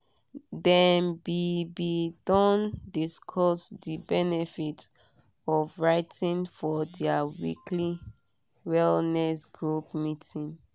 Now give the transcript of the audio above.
dem be be don discussed de benefit of writing for their weekly wellness group meeting.